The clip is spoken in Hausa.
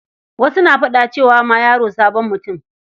Wasu na faɗa cewa ma yaro sabon mutum.